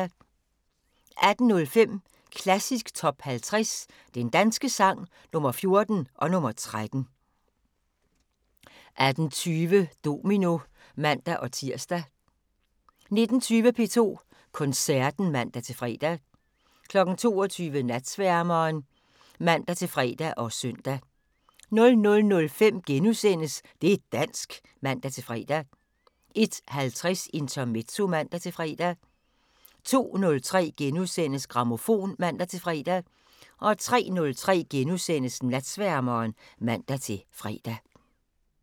18:05: Klassisk Top 50 Den danske sang – Nr. 14 og nr. 13 18:20: Domino (man-tir) 19:20: P2 Koncerten (man-fre) 22:00: Natsværmeren (man-fre og søn) 00:05: Det' dansk *(man-fre) 01:50: Intermezzo (man-fre) 02:03: Grammofon *(man-fre) 03:03: Natsværmeren *(man-fre)